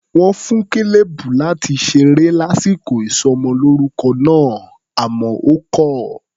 Wọ́n fún Caleb láti ṣeré lásìkò ìsọmọlórúkọ náà, àmọ́ ó kọ̀ ọ́.